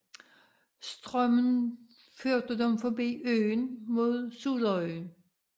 Strømmen førte dem forbi øen og mod Suðuroy